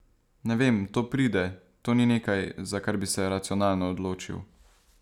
Ne vem, to pride, to ni nekaj, za kar bi se racionalno odločil.